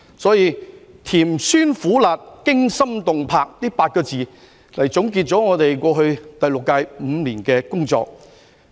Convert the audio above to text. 所以，以"甜酸苦辣、驚心動魄"這8個字，來總結我們過去第六屆5年的工作。